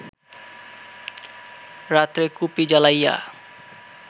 রাত্রে কুপি জ্বালাইয়া